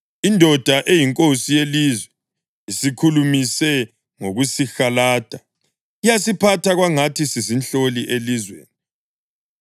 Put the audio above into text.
“Indoda eyinkosi yelizwe isikhulumise ngokusihalada, yasiphatha kwangathi sizinhloli elizweni.